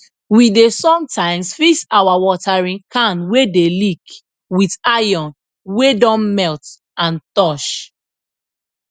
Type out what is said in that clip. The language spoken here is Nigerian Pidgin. we dey sometimes fix our watering can wey d leek with iron wey don melt and torch